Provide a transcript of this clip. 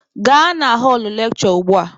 Gaa na họlụ lekshure ugbua!